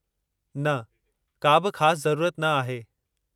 न का बि ख़ासि ज़रूरत न आहे।